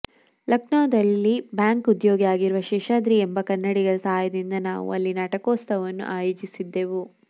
ಲಖನೌದಲ್ಲಿ bank ಉದ್ಯೋಗಿ ಆಗಿರುವ ಶೇಷಾದ್ರಿ ಎಂಬ ಕನ್ನಡಿಗರ ಸಹಾಯದಿಂದ ನಾವು ಅಲ್ಲಿ ನಾಟಕೋತ್ಸವವನ್ನು ಆಯೋಜಿಸಿದ್ದೆವು